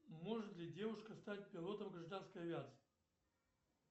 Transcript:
может ли девушка стать пилотом гражданской авиации